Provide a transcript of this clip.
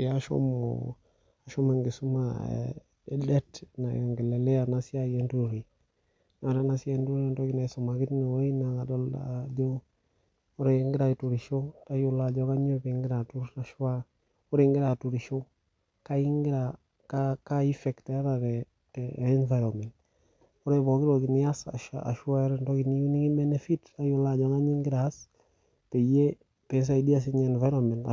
Ee eshomo enkisuma naiongelelea ena siai enturore naa ore esiai enturore naitengenaki teine naa ore egira aturisho tayiolo Ajo kainyio pee egira aturisho ore egira aturisho Kaa effect etaa tee environment ore pooki toki nias ashu ata entoki niyieu nikibemefit tayiolo Ajo kainyio pee egira